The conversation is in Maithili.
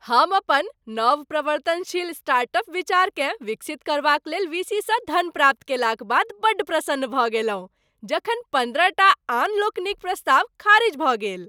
हम अपन नवप्रवर्तनशील स्टार्ट अप विचारकेँ विकसित करबाक लेल वी सी सँ धन प्राप्त कयलाक बाद बड्ड प्रसन्न भऽ गेलहुँ जखन पन्द्रहटा आनलोकनिक प्रस्ताव खारिज भऽ गेल।